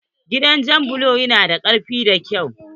Gidan jan bulo ya na da karfi da kyau.